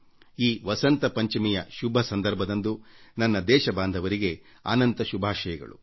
ಈ ವಸಂತ ಪಂಚಮಿಯ ಶುಭ ಸಂದರ್ಭದಂದು ನನ್ನ ದೇಶ ಬಾಂಧವರಿಗೆ ಶುಭಾಶಯಗಳು